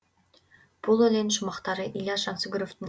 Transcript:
бұл өлең шумақтары ілияс жансүгіровтің